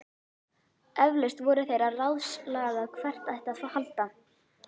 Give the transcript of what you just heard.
Eflaust voru þeir að ráðslaga hvert ætti að halda.